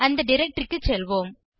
அந்த டைரக்டரி க்கு செல்வோம்